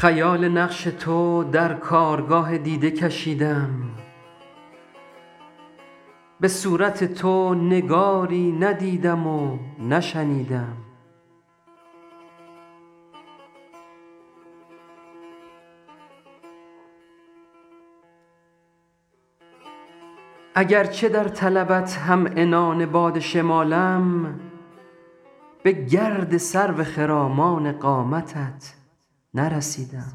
خیال نقش تو در کارگاه دیده کشیدم به صورت تو نگاری ندیدم و نشنیدم اگرچه در طلبت هم عنان باد شمالم به گرد سرو خرامان قامتت نرسیدم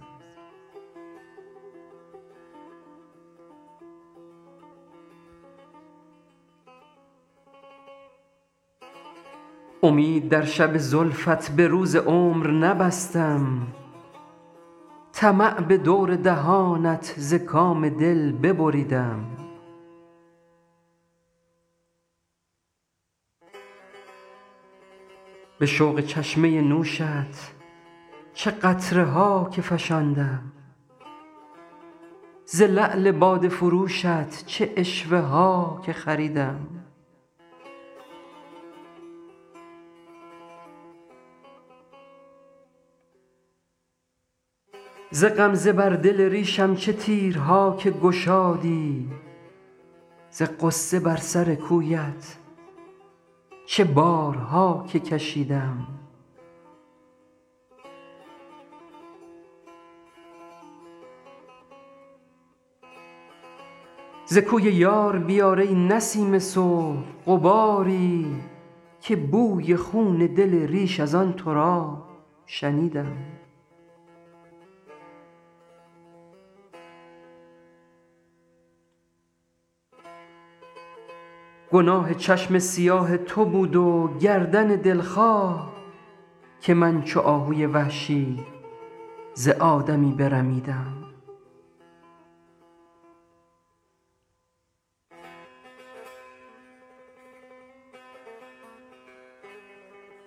امید در شب زلفت به روز عمر نبستم طمع به دور دهانت ز کام دل ببریدم به شوق چشمه نوشت چه قطره ها که فشاندم ز لعل باده فروشت چه عشوه ها که خریدم ز غمزه بر دل ریشم چه تیرها که گشادی ز غصه بر سر کویت چه بارها که کشیدم ز کوی یار بیار ای نسیم صبح غباری که بوی خون دل ریش از آن تراب شنیدم گناه چشم سیاه تو بود و گردن دلخواه که من چو آهوی وحشی ز آدمی برمیدم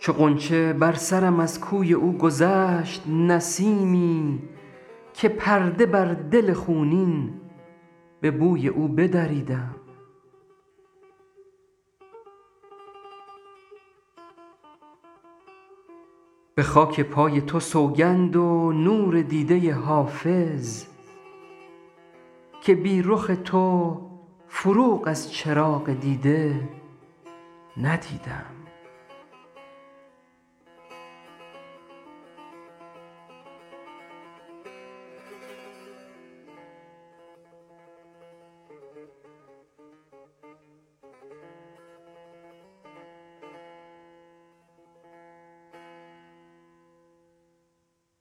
چو غنچه بر سرم از کوی او گذشت نسیمی که پرده بر دل خونین به بوی او بدریدم به خاک پای تو سوگند و نور دیده حافظ که بی رخ تو فروغ از چراغ دیده ندیدم